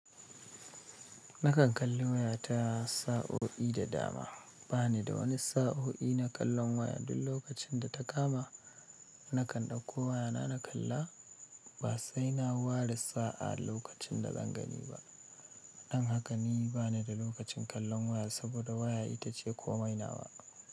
Nakan kalli waya ta sa'o'i da dama. Ba ni da wani sa'o'i na kallon waya. Duk lokacin da ta kama nakan dauko waya na na kalla ba sai na ware sa'a lokacin da zan gani ba. Dan haka ni bani da lokacin kallon waya saboda waya ita ce komai na wa.